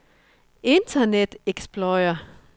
internet explorer